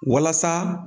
Walasa